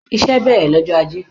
Iṣẹ́ bẹ̀rẹ̀ lọ́jọ Ajé.